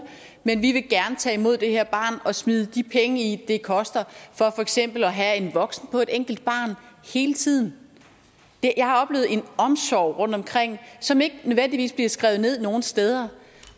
men vi vil gerne tage imod det her barn og smide de penge i det koster for eksempel at have en voksen på et enkelt barn hele tiden jeg har oplevet en omsorg rundtomkring som ikke nødvendigvis bliver skrevet ned nogen steder